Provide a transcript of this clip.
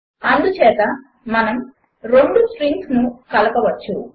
అందుచేత మనము రెండు స్ట్రింగ్స్లను కలపవచ్చు